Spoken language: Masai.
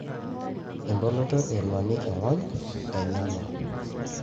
eboloto e engwali ongonyo enyana.